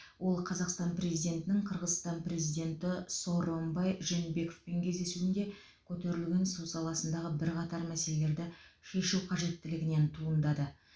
ол қазақстан президентінің қырғызстан президенті сооронбай жээнбековпен кездесуінде көтерілген су саласындағы бірқатар мәселелерді шешу қажеттілігінен туындады